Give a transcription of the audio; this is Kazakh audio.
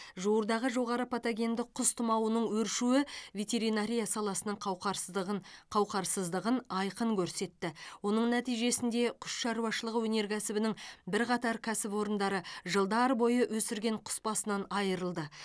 жуырдағы жоғары патогенді құс тұмауының өршуі ветеринария саласының қауқарсыздығын қауқарсыздығын айқын көрсетті оның нәтижесінде құс шаруашылығы өнеркәсібінің бірқатар кәсіпорындары жылдар бойы өсірген құс басынан айырылды